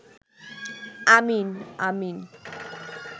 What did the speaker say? আমিন আমিন